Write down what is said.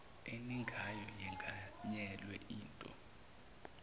eningayo yenganyelwa yinto